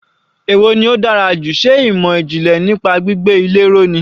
Èwo ni ó dára jù, ṣe ìmọ̀ ìjìnlẹ̀ nípa gbígbé ilé ró ni.